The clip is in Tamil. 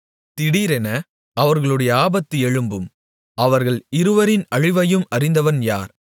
திடீரென அவர்களுடைய ஆபத்து எழும்பும் அவர்கள் இருவரின் அழிவையும் அறிந்தவன் யார்